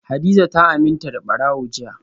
hadiza ta aminta da barawo jiya